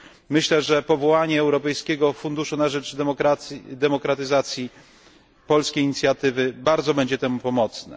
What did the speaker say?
Myślę, że powołanie Europejskiego Funduszu na rzecz Demokratyzacji polskiej inicjatywy bardzo będzie temu pomocne.